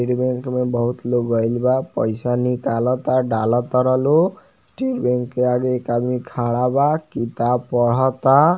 इस bank में बहुत लोग गइल बा पैसा निकालता डालतार नु स्टेट बैंक के आगे एक आदमी खड़ा बा किताब पढ़ता।